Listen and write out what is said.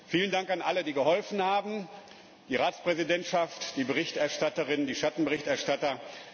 Vielen Dank an alle, die geholfen haben, die Ratspräsidentschaft, die Berichterstatterin, die Schattenberichterstatter.